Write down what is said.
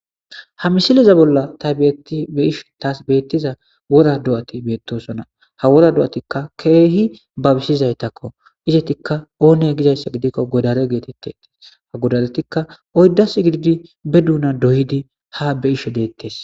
ha misileza bolla ta be'ish taas beettiza wora do7ati beettosona ha wora do7atikka keehi babisizaytakko izetikka oone gizayssa gidikko godare geetettei ha godaretikka oyddas gididi be duuna doyidi ha be'ishe deettes